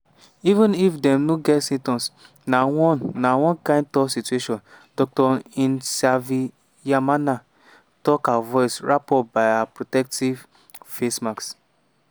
even if dey no get symptoms… na one na one kind tough situation” dr nsavyimana tok her voice wrap up by her protective face mask.